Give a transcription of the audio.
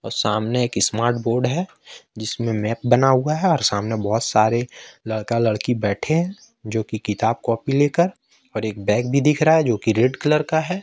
सामने की smart board है जिसमें मैप बना हुआ है और सामने बहुत सारे लड़का लड़की बैठे हैं जो की किताब कॉपी लेकर और एक बैग भी दिख रहा है जो की रेड कलर का है।